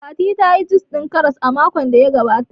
Fati tayi jus ɗin Karas makon da ya gabata